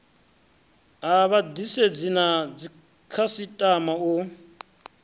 ha vhaḓisedzi na dzikhasiṱama u